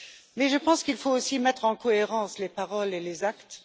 Mais je pense qu'il faut aussi mettre en cohérence les paroles et les actes.